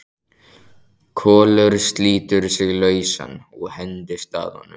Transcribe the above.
Kolur slítur sig lausan og hendist að honum.